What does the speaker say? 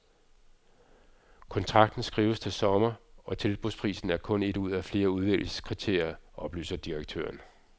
Kontrakten skrives til sommer, og tilbudsprisen er kun et ud af flere udvælgelseskriterier, oplyser direktøren.